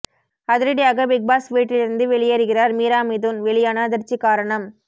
அதிரடியாக பிக்பாஸ் வீட்டிலிருந்து வெளியேறுகிறார் மீரா மிதுன் வெளியான அதிர்ச்சி காரணம்